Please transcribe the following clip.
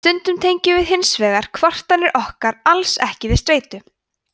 stundum tengjum við hins vegar kvartanir okkar alls ekki við streitu